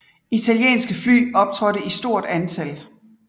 Italienske fly optrådte i stort antal